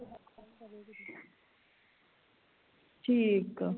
ਠੀਕ ਆ